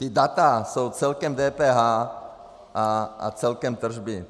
Ta data jsou celkem DPH a celkem tržby.